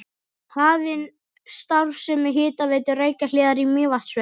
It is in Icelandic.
Hafin starfsemi Hitaveitu Reykjahlíðar í Mývatnssveit.